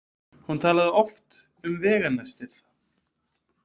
Hún talaði oft um veganestið.